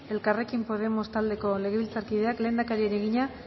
elkarrekin podemos taldeko legebiltzarkideak lehendakariari egina